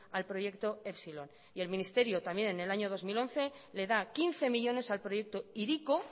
al proyecto epsilon y en el ministerio también en el año dos mil once le da quince millónes al proyecto hiriko